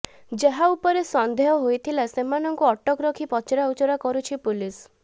ଯାହାଉପରେ ସନ୍ଦେହ ହୋଇଥିଲା ସେମାନଙ୍କୁ ଅଟକ ରଖି ପଚାରା ଉଚରା କରୁଛି ପୋଲିସ